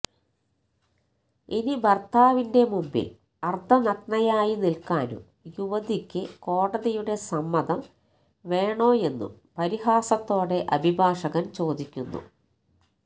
ഇനി ഭർത്താവിന്റെ മുമ്പിൽ അർധനഗ്നയായി നിൽക്കാനും യുവതിക്കു കോടതിയുടെ സമ്മതം വേണോയെന്നും പരിഹാസത്തോടെ അഭിഭാഷകൻ ചോദിക്കുന്നു